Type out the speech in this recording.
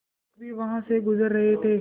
शिक्षक भी वहाँ से गुज़र रहे थे